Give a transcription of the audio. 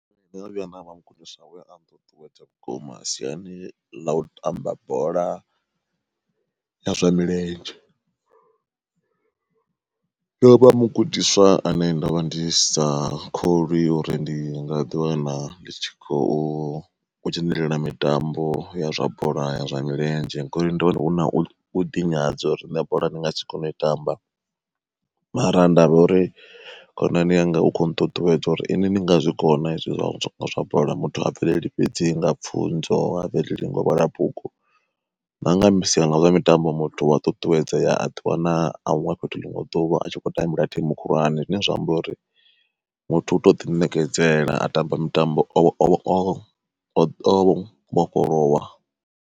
Ndono vhuya nda vha mugudiswa we a nṱuṱuwedzea vhukuma siani ḽa u tamba bola ya zwa milenzhe, ndo vha mugudiswa ane ndovha ndi sa kholwi uri ndi nga ḓi wana ndi kho u dzhenelela mitambo ya zwa bola ya zwa milenzhe. Ngori ndo wana hu na u ḓi nyadza uri nṋe bola ndi ngasi kone u i tamba, mara nda vha uri khonani yanga u kho nṱuṱuwedza uri ini ni nga zwikona hezwi zwa bola, muthu ha bveleli fhedzi nga pfunzo muthu uya bvelela nanga sia ḽa zwa mitambo muthu uya ṱuṱuwedza aḓi wana a huṅwe fhethu ḽiṅwe ḓuvha a tshi khou tambela thimu khulwane. Zwine zwa amba uri muthu u tou ḓi ṋekedzela a tamba mitambo o vhofholowa.